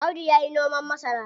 Audu yayi noman masara.